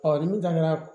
ni min daŋara